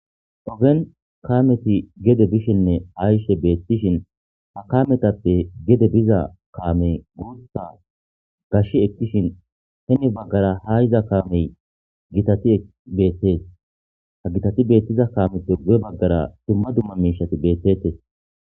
ogen kameti gede bishinne ayshe beettishin ha kametappe gede biza kaame guutha gash ekkishin heni baggara ha iza kaamey gitati beettees ha gitati beettiza kaamepe gu7e baggara dumma dumma miishati beettetes